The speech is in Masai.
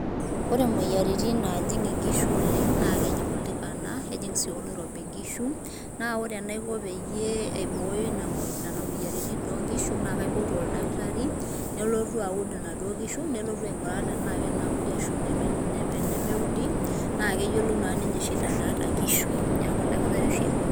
Ore moyiaritin naajing' nkishu oleng' naa kejing' oltikana, ejing' sii oloirobi nkishu. Naa ore enaiko peyie aibooyo nena moyiaritin toonkishu naa kaipotu oldakatari nelotu aud inaduo kishu nelotu aing'uraa tenaa kenaudu ashu inemeudi naa keyiolou naa ninye shida naata nkishu. Neeku oldaktari oshi aipotu.